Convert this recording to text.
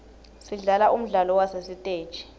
sidlala umdlalo wasesiteji